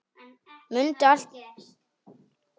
Mundi alltaf þekkja hann.